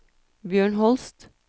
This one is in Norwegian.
Bjørn Holst